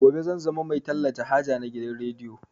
Gobe zan zama mai talata haja na gidan rediyo